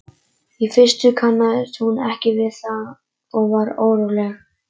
Í fyrstu kannaðist hún ekki við það og varð óróleg.